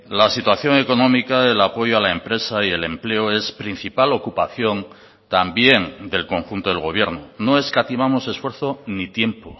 la situación económica del apoyo a la empresa y el empleo es principal ocupación también del conjunto del gobierno no escatimamos esfuerzo ni tiempo